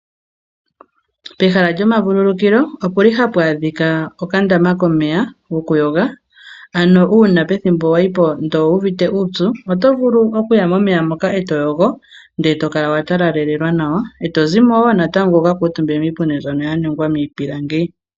Pehala lyomavululukilo opuli hapu adhika okandama komeya gokuyoga ano uuna pethimbo wayi po ndele owu uvite uupyu oto vulu okuya momeya moka e toyogo ndele tokala watalalelelwa nawa e tozimo wo natango wukakuutumbe miipundi mbyoka yaningwa miipilangi.